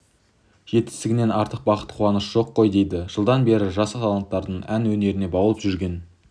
жетістігінен артық бақыт қуаныш жоқ қой дейді жылдан бері жас таланттарды ән өнеріне баулып жүрген